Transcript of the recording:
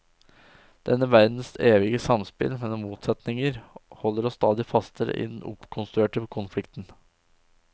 Denne verdens evige samspill mellom motsetninger, holder oss stadig fastere i den oppkonstruerte konflikten.